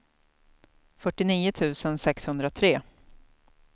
fyrtionio tusen sexhundratre